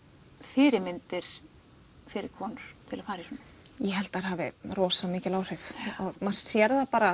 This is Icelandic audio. fyrirmyndir fyrir konur til að fara í svona ég held að þær hafi rosa mikil áhrif maður sér það bara